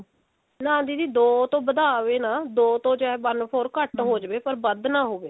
ਨਾ ਦੀਦੀ ਦੋ ਤੋਂ ਵਧਾਵੇ ਨਾ ਦੋ ਤੋਂ ਚਾਹੇ one four ਘੱਟ ਹੋ ਜਵੇ ਪਰ ਵੱਧ ਨਾ ਹੋਵੇ